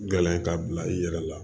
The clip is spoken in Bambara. Gɛlɛn k'a bila i yɛrɛ la